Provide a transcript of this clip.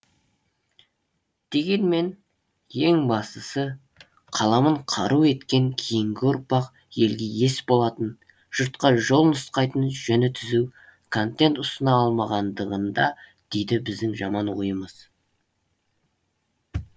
дегенмен ең бастысы қаламын қару еткен кейінгі ұрпақ елге ес болатын жұртқа жол нұсқайтын жөні түзу контент ұсына алмағандығында дейді біздің жаман ойымыз